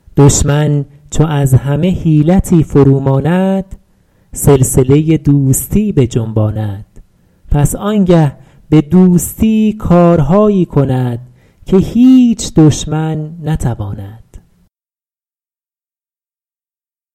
دشمن چو از همه حیلتی فرو ماند سلسله دوستی بجنباند پس آنگه به دوستی کارهایی کند که هیچ دشمن نتواند